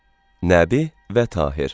Nəbi və Tahir.